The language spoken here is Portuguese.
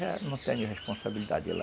Mas eu não tenho responsabilidade lá.